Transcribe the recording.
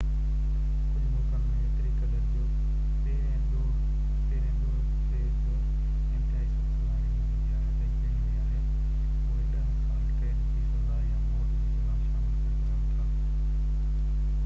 ڪجهہ ملڪن ۾ ايتري قدر جو پهرين ڏوهہ تي بہ انتهائي سخت سزا ڏني ويئي آهي اهي 10 سال قيد جي سزا يا موت جي سزا شامل ڪري سگهن ٿا